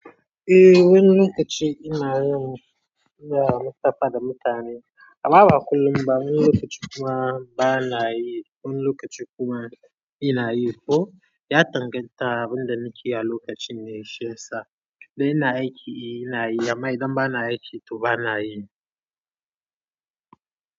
Eh wani lokaci ina yin, ina musafada mutane. A ma ba kullum ba, wani lokaci kuma bana yi, wani lokaci kuma ina yi. Ko ya danganta abin da nake yi a lokacin ne, shiyasa dai ina aiki ina yi. Amma idan bana aiki to bana yi.